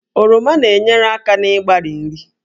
Oroma na-enyere aka n'ịgbari nri